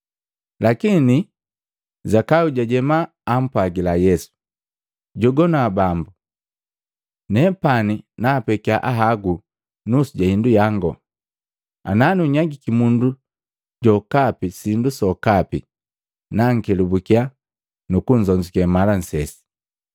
Lakini Zakayu jajema, ampwagila Yesu, “Jogwana Bambu! Nepani naapekya ahagu nusu ja hindu yangu, ana nunyagiki mundu jokapi sindu sokapi, na nkelabuki nu kunzonzuke mala nsese.”